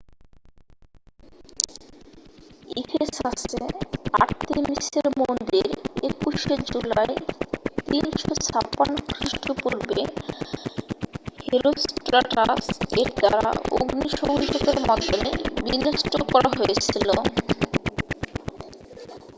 ইফেসাসে আর্তেমিসের মন্দির 21 শে জুলাই 356 খৃষ্টপূর্বে হেরোস্ট্রাটাস এর দ্বারা অগ্নিসংযোগের মাধ্যমে বিনষ্ট করা হয়েছিল